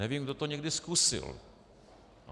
Nevím, kdo to někdy zkusil.